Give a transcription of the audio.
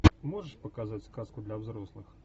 можешь показать сказку для взрослых